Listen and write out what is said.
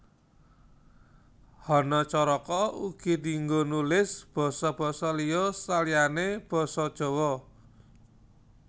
Hanacaraka uga dienggo nulis basa basa liya saliyané basa Jawa